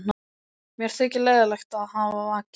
Mér þykir leiðinlegt að hafa vakið þig.